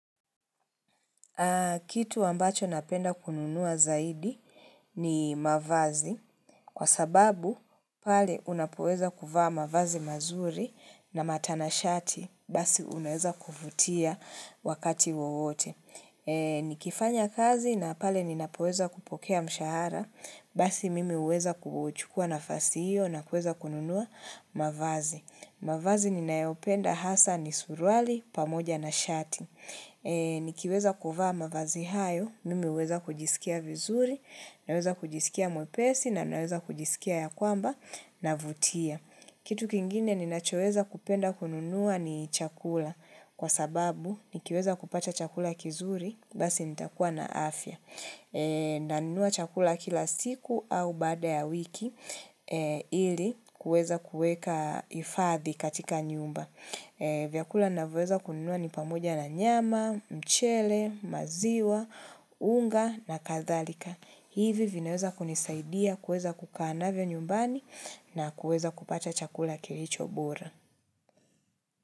Kitu wambacho napenda kununua zaidi ni mavazi, kwa sababu pale unapoweza kufaa mavazi mazuri na matanashati, basi unaweza kufutia wakati wowote. Nikifanya kazi na pale ninapoweza kupokea mshahara, basi mimi uweza kuuchukua nafasi hiyo na kuweza kununua mavazi. Mavazi ninayopenda hasa ni surwali pamoja na shati. Nikiweza kuvaa mavazi hayo, mimi huweza kujisikia vizuri, naweza kujisikia mwepesi na naweza kujisikia ya kwamba navutia. Kitu kingine ninachoweza kupenda kununua ni chakula kwa sababu nikiweza kupata chakula kizuri basi nitakuwa na afya. Nanunua chakula kila siku au baada ya wiki ili kuweza kuweka hifadhi katika nyumba. Vyakula ninavyoweza kununua ni pamoja na nyama, mchele, maziwa, unga na kadhalika. Hivi vinaweza kunisaidia kuweza kukaa navyo nyumbani na kuweza kupata chakula kilichobora.